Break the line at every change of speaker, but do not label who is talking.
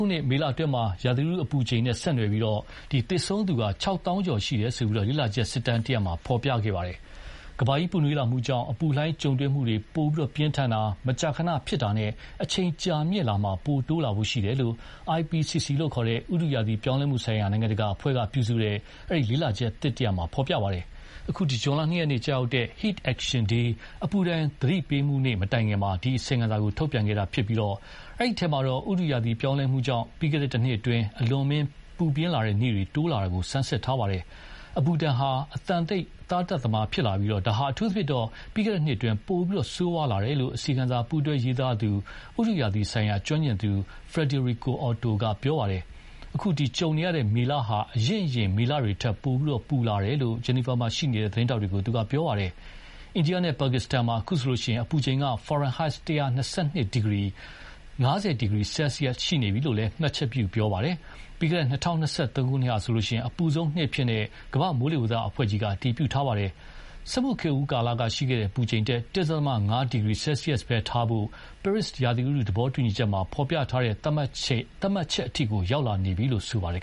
ုနှစ် မေလအတွင်း ရာသီဥတုအပူချိန်နဲ့ဆက်နွယ်ပြီး သေဆုံးသူ ၆၀,၀၀၀ ကျော်ရှိတယ်လို့ လေ့လာချက်စစ်တမ်းတရပ်မှာဖော်ပြပါတယ်။ ကမ္ဘာကြီးပူနွေးလာမှုကြောင့် အပူလှိုင်းပိုပြင်းထန်တာ၊ မကြာခဏဖြစ်တာနဲ့ အချိန်ကြာမြင့်မှုမှာ ပိုတိုးလာဖို့ရှိတယ်လို့ IPCC လို့ ခေါ်တဲ့ ဥတုရာသီပြောင်းလဲမှုဆိုင်ရာ နိုင်ငံတကာအဖွဲ့က ပြုစုတဲ့ အဲဒီလေ့လာချက်သစ်မှာဖော်ပြပါတယ်။ အခုဇွန်လ ၂ ရက်နေ့ ကျရောက်တဲ့ Heat Action Day အပူဒဏ်သတိပေးမှုနေ့မတိုင်ခင်မှာ ဒီအစီရင်ခံစာထုတ်ပြန်တာဖြစ်ပြီး အဲဒီထဲမှာတော့ ဥတုရာသီပြောင်းလဲမှုကြောင့် ပြီးခဲ့တဲ့ တနှစ်အတွင်း အလွန်အမင်း ပူပြင်းတဲ့နေ့တွေတိုးလာလာတာကို ဆန်းစစ်ထားပါတယ်။ အပူဒဏ်ဟာ အသံတိတ် သားသတ်သမားဖြစ်ပြီး ဒါဟာ အထူးသဖြင့် ပြီးခဲ့တဲ့နှစ်အတွင်း ပိုဆိုးဝါးလာတယ်လို့ အစီရင်ခံစာပူးတွဲရေးသားသူ ဥတုရာသီဆိုင်ရာကျွမ်းကျင်သူ Friederike Otto က ပြောပါတယ်။ အခု ကြုံရတဲ့ မေလဟာ အရင့်အရင် မေလတွေထက် ပိုပြီး ပူလာတယ်လို့လည်း Geneva မှာရှိနေတဲ့ သတင်းထောက်တွေကို သူက ပြောပါတယ်။ အိန္ဒိယနဲ့ပါကစ္စတန်မှာ အခုဆိုရင် အပူချိန် ဖာရင်ဟိုက် ၁၂၂ ဒီဂရီ ( ၅၀ ဒီဂရီ ဆဲဆီယက်စ်) ရှိနေပြီလို့လည်း မှတ်ချက်ပြုပြောသွားပါတယ်။ ပြီးခဲ့တဲ့ ၂၀၂၃ ခုနှစ်ဟာဆိုရင် အပူဆုံးနှစ်အဖြစ် ကမ္ဘာ့မိုးလေဝသအဖွဲ့ကြီးက အတည်ပြုထားပါတယ်။ စက်မှုခေတ်ဦးကာလကရှိတဲ့ အပူချိန်ထက် ၁.၅ ဒီဂရီဆဲဆီးယပ်စ်ပဲထားဖို့ ပဲရစ်ရာသီဥတုသဘောတူညီချက်မှာ ဖော်ပြထားတဲ့ သတ်မှတ်ချက်အထိကို ရောက်လာပြီလို့ ဆိုပါတယ်